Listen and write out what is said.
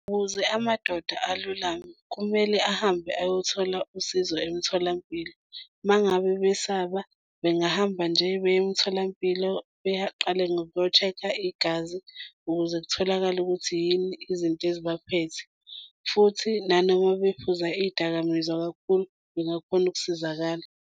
Ukuze amadoda alulame, kumele ahambe ayothola usizo emtholampilo. Uma ngabe besaba bengahamba nje beye emtholampilo beyaqale ngokuyo-check-a igazi ukuze kutholakale ukuthi yini izinto ezibaphethe. Futhi nanoma bephuza iy'dakamizwa kakhulu bengakhona ukusizakala.